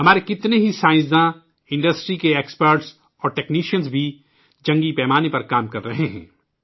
ہمارے کتنےہی سائنسداں ، صنعت کے ماہرین اور تکنیکی ماہرین بھی جنگی پیمانے پر کام کر رہے ہیں